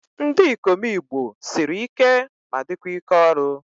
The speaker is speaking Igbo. Ndị ikom igbo sịrị ike ma dịkwa ike ọrụ